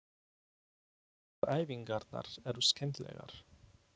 Framburðaræfingarnar eru skemmtilegar.